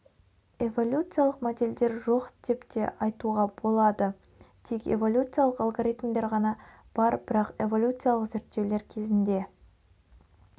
эволюциалық модельдер жоқ деп те айтуға болады тек эволюциялық алгоритмдер ғана бар бірақ эволюциалық зерттеулер кезінде